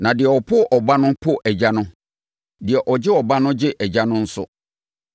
Na deɛ ɔpo Ɔba no po Agya no; deɛ ɔgye Ɔba no gye Agya no nso.